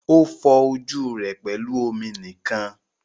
O fọ ojú rẹ pẹlú omi nìkan.